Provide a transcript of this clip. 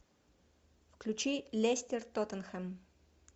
включи лестер тоттенхэм